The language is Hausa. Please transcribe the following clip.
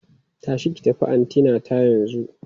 Tashi ki tafi antinata yanzu!